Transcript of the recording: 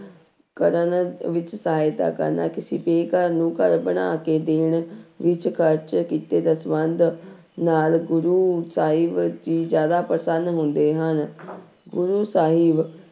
ਕਰਨ ਵਿੱਚ ਸਹਾਇਤਾ ਕਰਨਾ ਕਿਸੇ ਬੇਗ਼ਰ ਨੂੰ ਘਰ ਬਣਾ ਕੇ ਦੇਣ ਵਿੱਚ ਖ਼ਰਚ ਕੀਤੇ ਦਸਵੰਧ ਨਾਲ ਗੁਰੂ ਸਾਹਿਬ ਜੀ ਜ਼ਿਆਦਾ ਪ੍ਰਸੰਨ ਹੁੰਦੇ ਹਨ ਗੁਰੂ ਸਾਹਿਬ